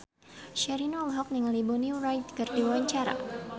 Sherina olohok ningali Bonnie Wright keur diwawancara